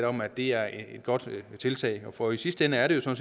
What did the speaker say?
om at det er et godt tiltag ja for i sidste ende er det jo